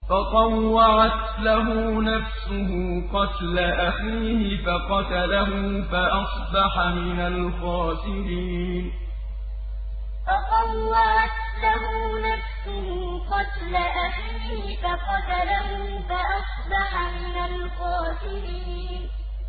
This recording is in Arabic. فَطَوَّعَتْ لَهُ نَفْسُهُ قَتْلَ أَخِيهِ فَقَتَلَهُ فَأَصْبَحَ مِنَ الْخَاسِرِينَ فَطَوَّعَتْ لَهُ نَفْسُهُ قَتْلَ أَخِيهِ فَقَتَلَهُ فَأَصْبَحَ مِنَ الْخَاسِرِينَ